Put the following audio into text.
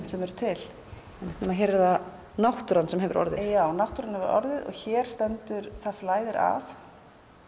sem eru til hér er það náttúran sem hefur orðið já náttúran hefur orðið hér stendur það flæðir að